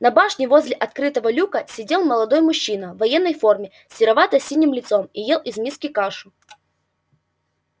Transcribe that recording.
на башне возле открытого люка сидел молодой мужчина в военной форме с серовато-синим лицом и ел из миски кашу